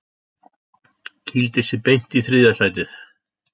Kýldi sig beint í þriðja sætið